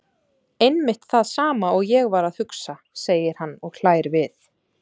Einmitt það sama og ég var að hugsa, segir hann og hlær við.